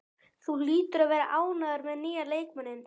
Þú hlýtur að vera ánægður með nýja leikmanninn?